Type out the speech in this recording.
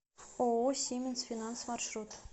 ооо сименс финанс маршрут